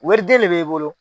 Wariden de b'e bolo.